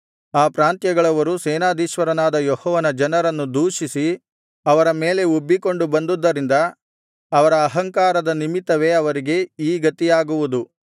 ಆ ಪ್ರಾಂತ್ಯಗಳವರು ಸೇನಾಧೀಶ್ವರನಾದ ಯೆಹೋವನ ಜನರನ್ನು ದೂಷಿಸಿ ಅವರ ಮೇಲೆ ಉಬ್ಬಿಕೊಂಡು ಬಂದುದ್ದರಿಂದ ಅವರ ಅಹಂಕಾರದ ನಿಮಿತ್ತವೇ ಅವರಿಗೆ ಈ ಗತಿಯಾಗುವುದು